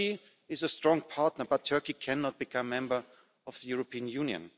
Turkey is a strong partner, but Turkey cannot become a member of the European Union.